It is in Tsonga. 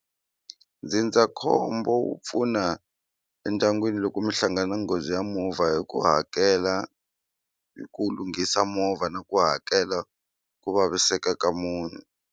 Ndzindzakhombo wu pfuna endyangwini loko mi hlangana nghozi ya movha hi ku hakela hi ku lunghisa movha na ku hakela ku vaviseka ka munhu.